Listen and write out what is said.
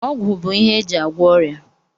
Ọgwụ bụ ihe eji agwọ ọrịa